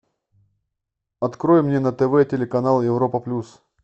открой мне на тв телеканал европа плюс